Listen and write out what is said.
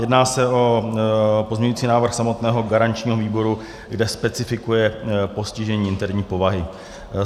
Jedná se o pozměňovací návrh samotného garančního výboru, kde specifikuje postižení interní povahy.